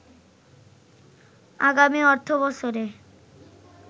আগামী অর্থবছরে